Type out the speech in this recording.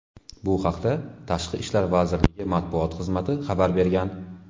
Bu haqda Tashqi ishlar vazirligi matbuot xizmati xabar bergan .